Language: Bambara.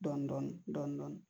Dɔndɔni dɔndɔni